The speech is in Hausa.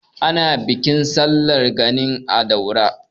Ana Bikin sallar Gani a Daura.